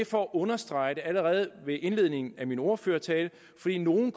for at understrege det allerede ved indledningen af min ordførertale fordi nogle